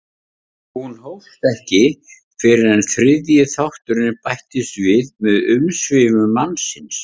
Hún hófst ekki fyrr en þriðji þátturinn bætist við með umsvifum mannsins.